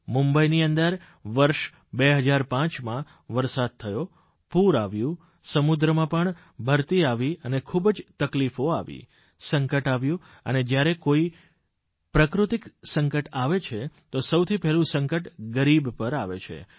મુંબઇની અંદર વર્ષ 2005માં વરસાદ થયો પૂર આવ્યું સમુદ્રમાં પણ ભરતી આવી અને ખૂબ જ તકલીફો આવી સંકટ આવ્યું અને જયારે કોઇ પણ પ્રાકૃતિક સંકટ આવે છે તો સૌથી પહેલું સંકટ ગરીબ પર આવે છે